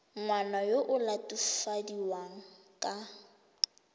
ngwana yo o latofadiwang ka